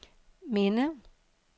minde